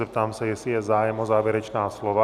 Zeptám se, jestli je zájem o závěrečná slova.